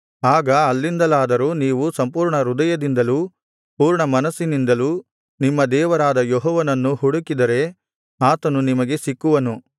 ಆಗ ಅಲ್ಲಿಂದಲಾದರೂ ನೀವು ಸಂಪೂರ್ಣ ಹೃದಯದಿಂದಲೂ ಪೂರ್ಣ ಮನಸ್ಸಿನಿಂದಲೂ ನಿಮ್ಮ ದೇವರಾದ ಯೆಹೋವನನ್ನು ಹುಡುಕಿದರೆ ಆತನು ನಿಮಗೆ ಸಿಕ್ಕುವನು